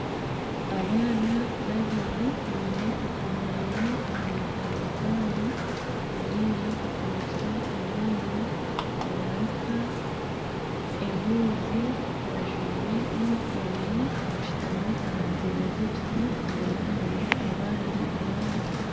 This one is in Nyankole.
Abaana babiri biine akamwenyo aha matama gaabo ondiijo asinikire amaino nibaruka ehuuzi bajwire yunifoomu bashutami aha ntebe z'ekiti enyima hariyo abandi abaana.